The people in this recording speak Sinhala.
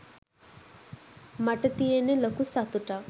මට තියෙන්නෙ ලොකු සතුටක්